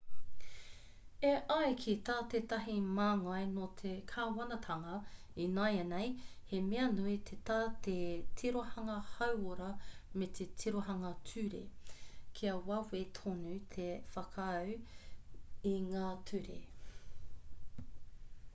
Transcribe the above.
e ai ki tā tētahi māngai nō te kāwanatanga ināianei he mea nui ki tā te tirohanga hauora me te tirohanga ture kia wawe tonu te whakaū i ngā ture